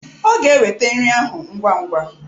Ọ ga-eweta nri ahụ ngwa ngwa.